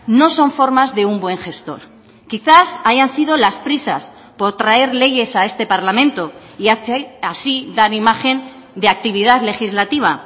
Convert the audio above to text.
no son formas de un buen gestor quizás hayan sido las prisas por traer leyes a este parlamento y así dar imagen de actividad legislativa